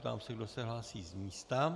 Ptám se, kdo se hlásí z místa.